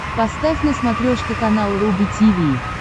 поставь на смотрешке канал рубль ти ви